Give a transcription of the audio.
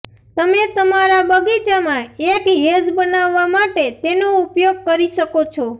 તમે તમારા બગીચામાં એક હેજ બનાવવા માટે તેનો ઉપયોગ કરી શકો છો